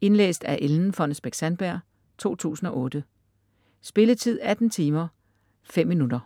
Indlæst af Ellen Fonnesbech-Sandberg, 2008. Spilletid: 18 timer, 5 minutter.